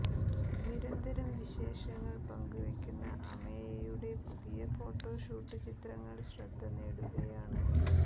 നിരന്തരം വിശേഷങ്ങൾ പങ്കുവയ്ക്കുന്ന അമേയയുടെ പുതിയ ഫോട്ടോഷൂട്ട് ചിത്രങ്ങൾ ശ്രദ്ധ നേടുകയാണ്